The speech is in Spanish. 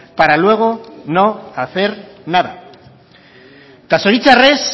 para luego no hacer nada eta zoritzarrez